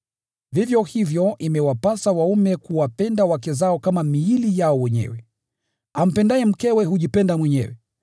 Vivyo hivyo imewapasa waume kuwapenda wake zao kama miili yao wenyewe. Ampendaye mkewe hujipenda mwenyewe.